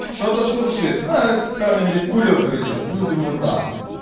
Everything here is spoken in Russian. что-то шуршит кулёк грызёт ну думаю да